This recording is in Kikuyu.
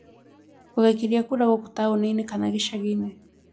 Ugaikĩria kura gũkũ taũni-inĩ kana gĩcagi-inĩ